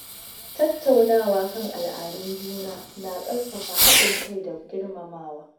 Tattaunawa kan al’adun juna na ƙarfafa haɗin kai da girmamawa.